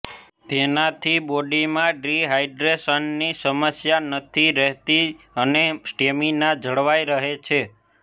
તેનાથી બોડીમાં ડિહાઈડ્રેશનની સમસ્યા નથી રહેતી અને સ્ટેમિના જળવાઈ રહે છે